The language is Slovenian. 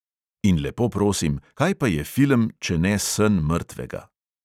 In lepo prosim, kaj pa je film, če ne sen mrtvega?